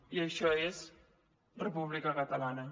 i això és república catalana